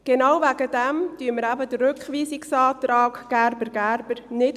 Genau deswegen unterstützen wir den Rückweisungsantrag Gerber und Gerber nicht.